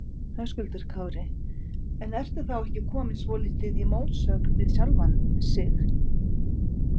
Höskuldur Kári: En ertu þá ekki kominn svolítið í mótsögn við sjálfan sig?